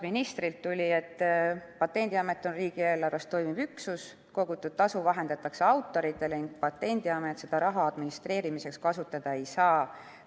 Ministrilt tuli vastus, et Patendiamet on riigieelarvest toimiv üksus, kogutud tasu vahendatakse autoritele ning Patendiamet seda raha administreerimiseks kasutada ei saa.